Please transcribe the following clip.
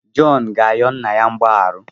Jọn ga-ayọ nna ya mgbaghara.